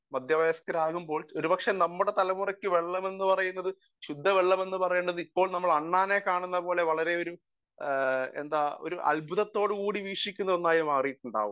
speaker 1 മധ്യ വയസ്കരാവുമ്പോൾ ഒരുപക്ഷെ നമ്മുടെ തലമുറക്ക് വെള്ളമെന്നു പറയുന്നത് ശുദ്ധ വെള്ളമെന്നു പറയുന്നത് ഇപ്പോൾ നമ്മൾ അണ്ണാനെ കാണുന്നത് പോലെ വളരെ ഒരു എന്താ പറയാ വളരെ അത്ബുധത്തോടുകൂടി വീക്ഷിക്കുന്ന ഒന്നായി മാറിയിട്ടുണ്ടാകും